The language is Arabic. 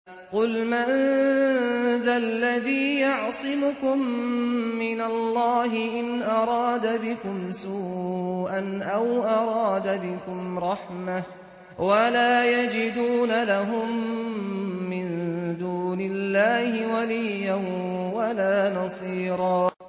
قُلْ مَن ذَا الَّذِي يَعْصِمُكُم مِّنَ اللَّهِ إِنْ أَرَادَ بِكُمْ سُوءًا أَوْ أَرَادَ بِكُمْ رَحْمَةً ۚ وَلَا يَجِدُونَ لَهُم مِّن دُونِ اللَّهِ وَلِيًّا وَلَا نَصِيرًا